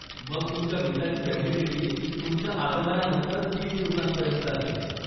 मग तुमच्या विसाची व्हॅलिडिटी तुमच्या आगमनानंतर तीस दिवसांपर्यंत असेल.